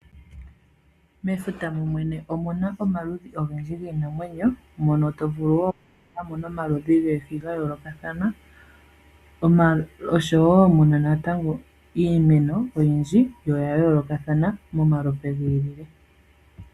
Mefuta momwene omuna omaludhi ogendji giinamwenyo, mono tovulu wo okumona mo nomaludhi goohi ga yoolokathana osho wo muna natango iimeno oyindji yo oya yoolokathana momalupe gi ili.